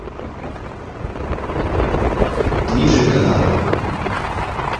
ниже канал